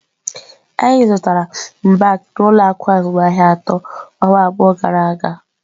Anyị zụtara mbak n'ụlọ akụ azụmaahịa atọ ọnwa abụọ gara aga.